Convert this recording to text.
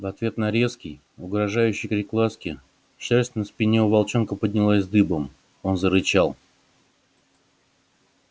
в ответ на резкий угрожающий крик ласки шерсть на спине у волчонка поднялась дыбом он зарычал